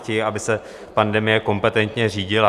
Chtějí, aby se pandemie kompetentně řídila.